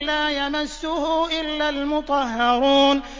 لَّا يَمَسُّهُ إِلَّا الْمُطَهَّرُونَ